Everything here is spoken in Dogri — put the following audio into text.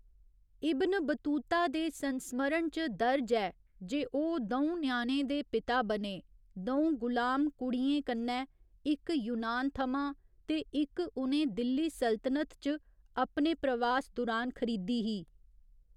इब्न बतूता दे संस्मरण च दर्ज ऐ जे ओह् द'ऊं ञ्याणें दे पिता बने द'ऊं गुलाम कुड़ियें कन्नै, इक यूनान थमां ते इक उ'नें दिल्ली सल्तनत च अपने प्रवास दुरान ख़रीदी ही।